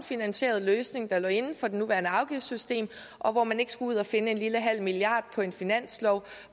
finansieret løsning der lå inden for det nuværende afgiftssystem og hvor man ikke skulle ud at finde en lille halv milliard på en finanslov